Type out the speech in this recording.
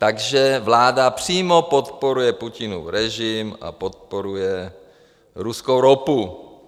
Takže vláda přímo podporuje Putinův režim a podporuje ruskou ropu.